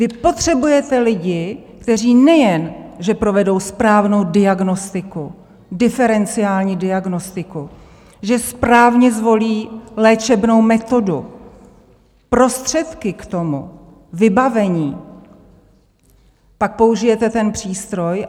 Vy potřebujete lidi, kteří nejen že provedou správnou diagnostiku, diferenciální diagnostiku, že správně zvolí léčebnou metodu, prostředky k tomu, vybavení, pak použijete ten přístroj.